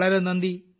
നമസ്കാരം